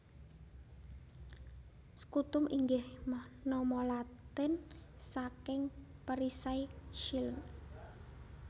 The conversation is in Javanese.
Scutum inggih nama Latin saking Perisai shield